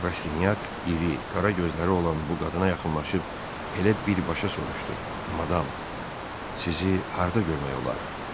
Rastinyak iri, qara gözləri olan bu qadına yaxınlaşıb elə birbaşa soruşdu: Madam, sizi harda görmək olar?